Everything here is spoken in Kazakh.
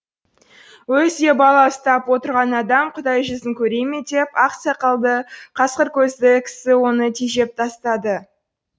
өзі де бала ұстап отырған адам құдай жүзін көре ме деп ақ сақалды қасқыр көзді кісі оны тежеп тастады